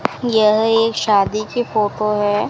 यह एक शादी की फोटो हैं।